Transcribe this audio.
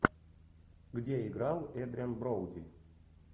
где играл эдриан броуди